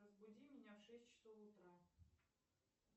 разбуди меня в шесть часов утра